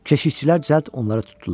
Keşikçilər cəld onları tutdular.